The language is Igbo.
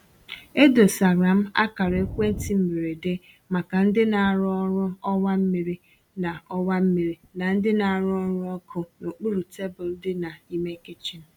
E dosara m akara ekwentị mberede maka ndị na-arụ ọrụ ọwa mmiri na ọwa mmiri na ndị na-arụ ọrụ ọkụ n’okpuru tebụl di n'ime kichin.